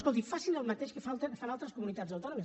escolti facin el mateix que fan altres comunitats autònomes